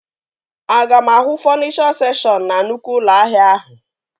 Aga m ahụ fọnichọ sekshọn na nnukwu ụlọ ahịa ahụ?